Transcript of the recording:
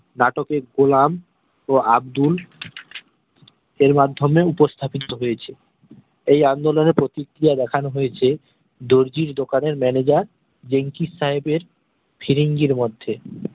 নাটকের গোলাম ও আব্দুল সেই মাধ্যমে উপস্থাপিত হয়েছে এই আন্দোলনের প্রতিক্রিয়া দেখানো হয়েছে দর্জির দোকানের manager বেনকিস সাহেবর ফিরিঙ্গির মধ্যে